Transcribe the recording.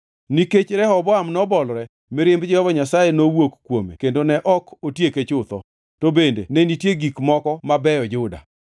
Nikech Rehoboam nobolore, mirimb Jehova Nyasaye nowuok kuome kendo ne ok otieke chutho. To bende ne nitie gik moko mabeyo Juda.